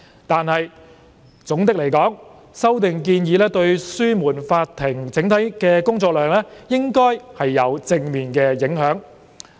但是，總的來說，修訂建議對紓緩法庭整體的工作量應有正面的影響。